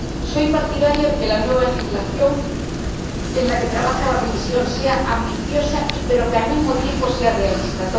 Soy partidaria de que la nueva legislación en la que trabaja la Comisión sea ambiciosa, pero que, al mismo tiempo, sea realista.